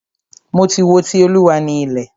Mo ti wo "Ti Olúwa ni ilẹ̀".